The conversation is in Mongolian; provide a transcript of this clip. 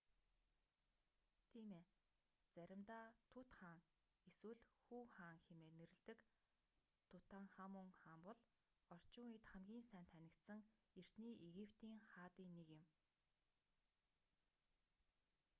тийм ээ заримдаа тут хаан эсвэл хүү хаан хэмээн нэрлэдэг тутанхамун хаан бол орчин үед хамгийн сайн танигдсан эртний египетийн хаадын нэг юм